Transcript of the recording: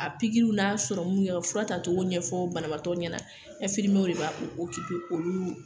A pikiriw n'a yɛrɛ,u bi fura ta cogo ɲɛfɔ banabaatɔ ɲɛna . de kan k'u olu